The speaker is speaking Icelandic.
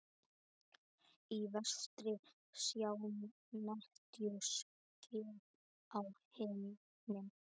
Í vestri sjást netjuský á himni.